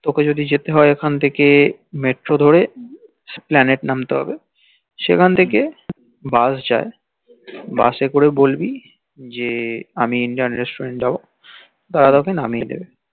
তকে যদি জেতে হই ওখান থেকে Metro ধরে Planed নামতে হবে সেখান থেকে Bus যাই bus করে বলবি আমি Indian Resturant জাব তাহলে নামিয়ে দেবে